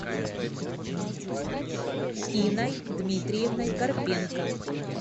инной дмитриевной карпенко